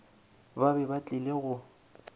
ba be ba tlile go